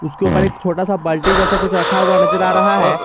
उसके ऊपर एक छोटा सा बाल्टी जैसा कुछ रखा हुआ नजर आ रहा है।